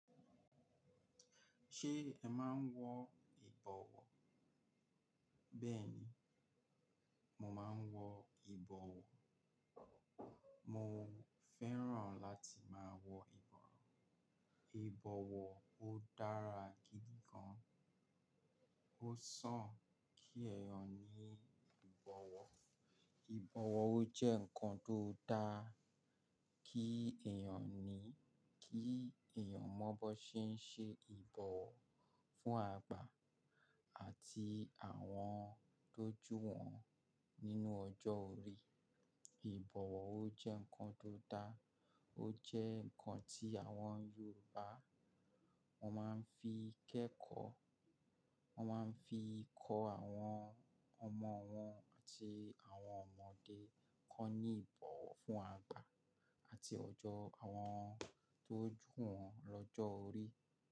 Ṣé ẹ máa ń wọ ìbọ̀wọ́? Bẹ́ẹ̀ni, mo máa ń wọ ìbọ̀wọ́. Mo fẹ́ràn láti máa wọ ìbọwọ́. Ìbọ̀wọ́ ó dára gidi gan. Ó sàn kí èèyàn ní ìbọ̀wọ́. Ìbọ̀wọ́ ó jẹ́ ǹkan tó dáa kí èèyàn ní, kí èèyàn mọ̀ bó ṣe ń ṣe ìbọ̀wọ́ fún àgbà àti àwọn tó jù wọn nínú ọjọ́ orí. Ìbọ̀wọ́ ó jẹ́ ǹkan tó dáa, ó jẹ́ ǹkan tí àwọn Yorùbá wọ́n máa ń fi kẹ́kọ̀ọ́, wọ́n máa ń fi kọ àwọn ọmọ wọn àti àwọn ọmọdé kọ ní ìbọ̀wọ́ fún àgbà àti ọjọ́ àwọn tó jù wọn lọ́jọ́ orí.